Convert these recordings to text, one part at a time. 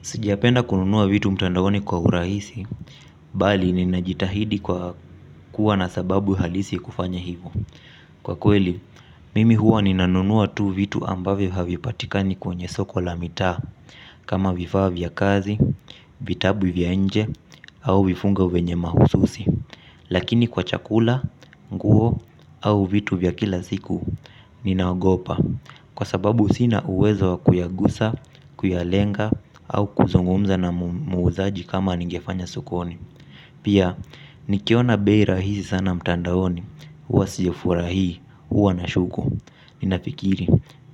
Sijapenda kununua vitu mtandaoni kwa urahisi, bali ninajitahidi kwa kuwa na sababu halisi kufanya hivi. Kwa kweli mimi huwa ninanua tu vitu ambavyo havipatikana katika soko la mitaa kama vifaa vya kazi vitabu vya nje au vifungo vyenye mahususi. Lakini kwa chakula, nguo au vitu vya kila sku Ninaogopa Kwa sababu sina uwezo kuyagusa, kuyalenga au kuzungumza na muuzaji kama ningefanya sukoni. Pia, nikiona bei rahisi sana mtandaoni huwa sijafurahia, huwa nashuku. Ninafikiri,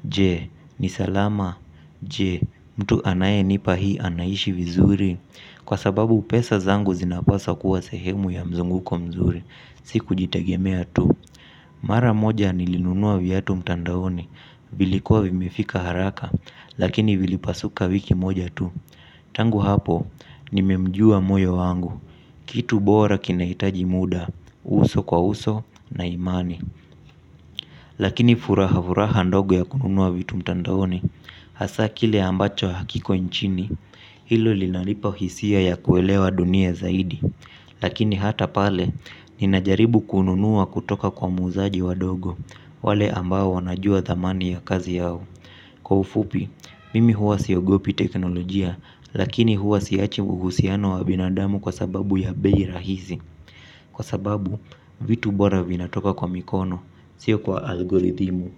je, ni salama. Je, mtu anayenipa hii anaishi vizuri. Kwa sababu pesa zangu zinapaswa kuwa sehemu ya mzunguko mzuri. Si kujitegemea tu. Mara moja nilinunua viatu mtandaoni. Vilikuwa vimefika haraka. Lakini vilipasuka wiki moja tu. Tangu hapo nimemjua moyo wangu. Kitu bora kinahitaji muda uso kwa uso na imani. Lakini furaha furaha ndogo ya kununua vitu mtandaoni. Hasa kile ambacho hakiko nchini. Hilo linalipa hisia ya kuelewa dunia zaidi. Lakini hata pale, ninajaribu kununua kutoka kwa muuzaji wadogo. Wale ambao wanajua dhamani ya kazi yao. Kwa ufupi, mimi huwa siogopi teknolojia. Lakini huwa siachi uhusiano wa binadamu kwa sababu ya bei rahisi kwa sababu vitu bora vinatoka kwa mikono sio kwa algorithimu.